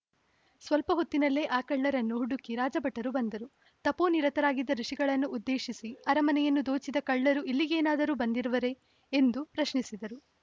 ಸ್ವಲ್ಪ ಹೊತ್ತಿನಲ್ಲೇ ಆ ಕಳ್ಳರನ್ನು ಹುಡುಕಿ ರಾಜಭಟರು ಬಂದರು ತಪೋನಿರತರಾಗಿದ್ದ ಋುಷಿಗಳನ್ನು ಉದ್ದೇಶಿಸಿ ಅರಮನೆಯನ್ನು ದೋಚಿದ ಕಳ್ಳರು ಇಲ್ಲಿಗೇನಾದರೂ ಬಂದಿರುವರೇ ಎಂದು ಪ್ರಶ್ನಿಸಿದರು